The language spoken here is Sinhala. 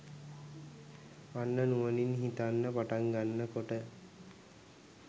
අන්න නුවණින් හිතන්න පටන් ගන්න කොට